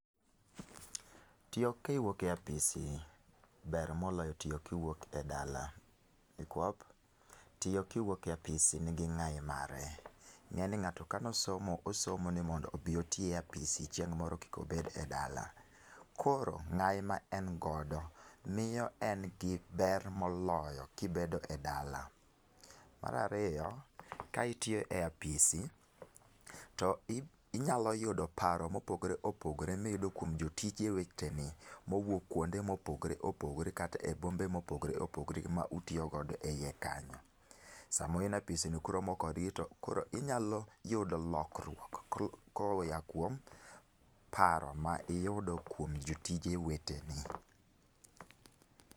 Tiyo kiwuoke apisi ber moloyo tiyo kiwuok e dala, nikwop, tiyo kiwuoke apisi nigi ng'ai mare. Ng'eni ng'ato kanosomo osomo ni mondo obi oti e apisi chieng' moro kikobed e dala, koro ng'ai ma en godo miyo en gi ber moloyo kibedo e dala. Marariyo, kaitiyo e apisi inyalo yudo paro mopogore opogore miyudo kuom jotije weteni mowuok kuonde mopogore opogore kat e bombe mopogore opogore gi ma utiyogodo e iye kanyo. Sama une apisino kuromo kodgi to koro inyalo yudo lokruok koya kuom paro ma iyudo kuom jotije weteni.